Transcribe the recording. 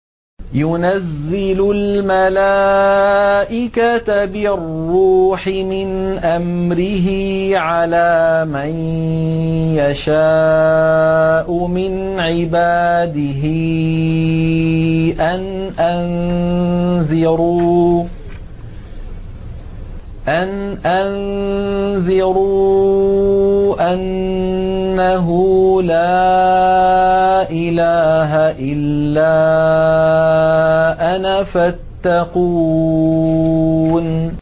يُنَزِّلُ الْمَلَائِكَةَ بِالرُّوحِ مِنْ أَمْرِهِ عَلَىٰ مَن يَشَاءُ مِنْ عِبَادِهِ أَنْ أَنذِرُوا أَنَّهُ لَا إِلَٰهَ إِلَّا أَنَا فَاتَّقُونِ